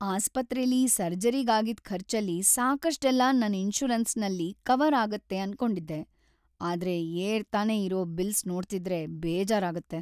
ಆಸ್ಪತ್ರೆಲಿ ಸರ್ಜರಿಗ್‌ ಆಗಿದ್ ಖರ್ಚಲ್ಲಿ ಸಾಕಷ್ಟೆಲ್ಲ ನನ್‌ ಇನ್ಶೂರೆನ್ಸಲ್ ಕವರ್‌ ಆಗತ್ತೆ ಅನ್ಕೊಂಡಿದ್ದೆ, ಆದ್ರೆ ಏರ್ತಾನೇ ಇರೋ ಬಿಲ್ಸ್‌ ನೋಡ್ತಿದ್ರೆ ಬೇಜಾರಾಗತ್ತೆ.